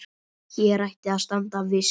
Hér ætti að standa viss.